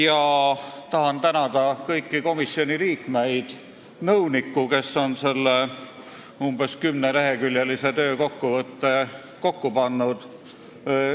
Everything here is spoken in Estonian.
Ma tahan tänada kõiki komisjoni liikmeid ja tahan tänada nõunikku, kes on selle umbes 10-leheküljelise töökokkuvõtte kokku pannud.